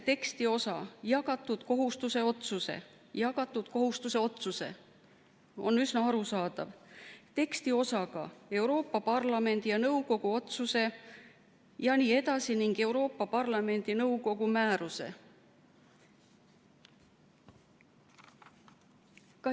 Tekstiosa "jagatud kohustuse otsuse" – see "jagatud kohustuse otsuse" on üsna arusaadav – asendatakse tekstiosaga "Euroopa Parlamendi ja nõukogu otsuse ... või Euroopa Parlamendi ja nõukogu määruse ...".